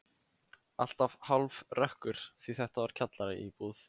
Alltaf hálfrökkur því þetta var kjallaraíbúð.